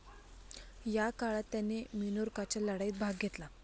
या काळात त्याने मिनोर्काच्या लढाईत भाग घेतला.